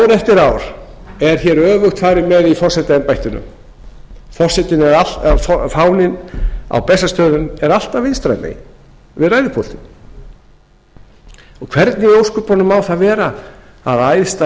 ár eftir ár er öfugt farið með í forsetaembættinu fáninn á bessastöðum er alltaf vinstra megin við ræðupúltið og hvernig í ósköpunum má það vera að æðsta